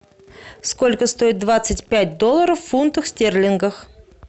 сколько стоит двадцать пять долларов в фунтах стерлингов